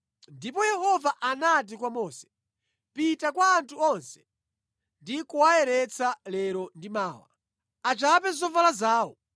Ndipo Yehova anati kwa Mose, “Pita kwa anthu onse ndi kuwayeretsa lero ndi mawa. Achape zovala zawo